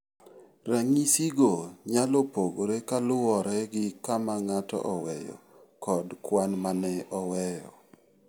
Ranyisigo nyalo pogore kaluwore gi kama ng'ato oweyo kod kwan ma ne oweyo.